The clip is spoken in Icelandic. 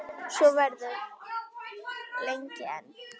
Og svo verður lengi enn.